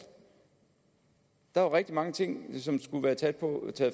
der var rigtig mange ting som der skulle være taget